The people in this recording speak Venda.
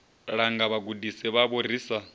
langa vhagudisi vhavho ri sa